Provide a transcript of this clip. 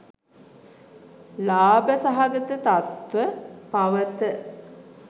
ලාබ සහගත තත්ත්ව පවත